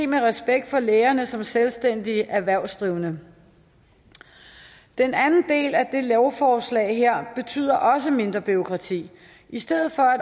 med respekt for lægerne som selvstændige erhvervsdrivende den anden del af det lovforslag her betyder også mindre bureaukrati i stedet for at